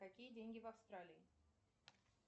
какие деньги в австралии